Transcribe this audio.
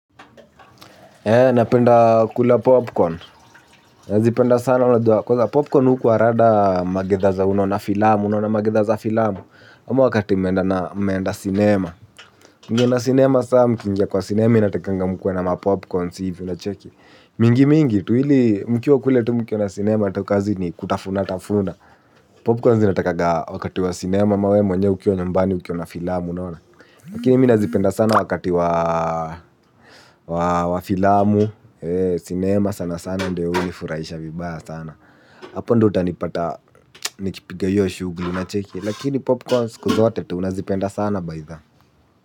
Eee, napenda kula popcorn. Nazipenda sana unajua kwanza popcorn hukuwa rada magidhaa za unaona filamu, unaona magidhaa za filamu. Ama wakati mmeenda sinema. Mngeenda sinema saa mkiingia kwa sinema inatakanga mkuwe na mapopcorns hivi unacheki. Mingi mingi, tu ili mkiwa kule tu mkiona sinema tu kazi ni kutafuna tafuna. Popcorn zinatakaga wakati wa sinema ama we mwenyewe ukiwa nyumbani ukiona filamu. Lakini mi nazipenda sana wakati wa filamu, sinema sana sana, ndio unifuraisha vibaya sana. Hapo ndo utanipata, nikipiga hio shugli unacheki, lakini popcorn siku zote tu nazipenda sana baidha.